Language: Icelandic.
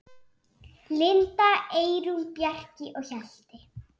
Linda, Eyrún, Bjarki og Hjalti.